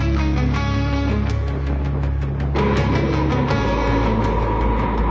Bütün ruhlarımızı işıqlandırır, yolumuzu azdırmır.